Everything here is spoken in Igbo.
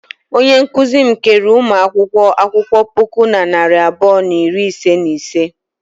Onye nkụzi m keere ụmụ akwụkwọ akwụkwọ puku na narị abụọ na iri ise na ise.